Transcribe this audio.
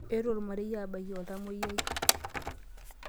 Eetuo olmarei aabaiki oltamwoyiai.